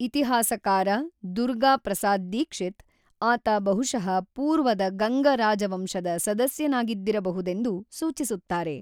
ಇತಿಹಾಸಕಾರ ದುರ್ಗಾ ಪ್ರಸಾದ್ ದೀಕ್ಷಿತ್, ಆತ ಬಹುಶಃ ಪೂರ್ವದ ಗಂಗ ರಾಜವಂಶದ ಸದಸ್ಯನಾಗಿದ್ದಿರಬಹುದೆಂದು ಸೂಚಿಸುತ್ತಾರೆ.